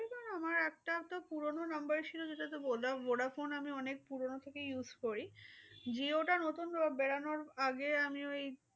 আমার একটা তো পুরোনো number ছিল সেটাতো voda~vodaphone আমি অনেক পুরোনো থেকে use করি। jio তা নতুন বেরোনোর আগে আমি ওই